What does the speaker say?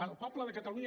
el poble de catalunya